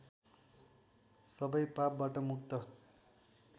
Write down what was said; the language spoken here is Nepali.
सबै पापबाट मुक्त